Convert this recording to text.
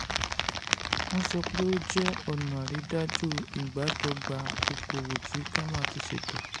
wọ́n sọ pé ó jẹ́ ọ̀nà àrídájú ìbádọ́gba okòwò tí cama ti ṣètò.